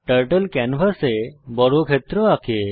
turtle ক্যানভাসে বর্গক্ষেত্র আঁকে